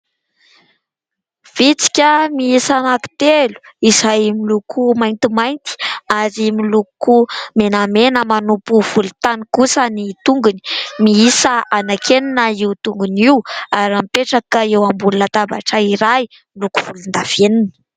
Vitsika miisa anankitelo izay miloko maintimainty ary miloko menamena manopy volontany kosa ny tongony. Miisa anankenina io tongony io ary mipetraka eo ambony latabatra iray miloko volondavenona.